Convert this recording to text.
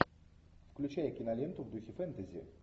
включай киноленту в духе фэнтези